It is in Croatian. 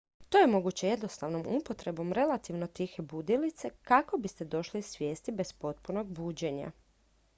to je moguće jednostavnom upotrebom relativno tihe budilice kako biste došli svijesti bez potpunog buđenja